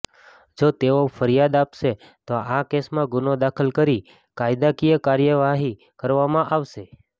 જો તેઓ ફરિયાદ આપશે તો આ કેસમાં ગુનો દાખલ કરી કાયદાકીય કાર્યવાહી કરવામાં આવશે